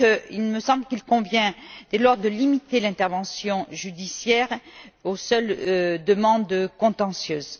Il me semble qu'il convient dès lors de limiter l'intervention judiciaire aux seules demandes contentieuses.